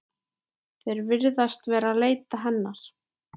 Þeir virðast vera að leita hennar.